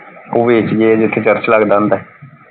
ਉਹ ਵੇਚ ਗਏ ਜਿਥੇ ਚਰਚ ਲਗਦਾ ਹੁੰਦਾ ਸੀ।